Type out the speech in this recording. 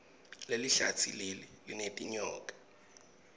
lelihlatsi leli linetinyoka